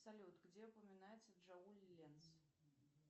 салют где упоминается джоуль ленц